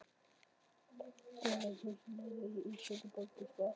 Dimmleit húsin liðu hjá, ísköld borgin svaf.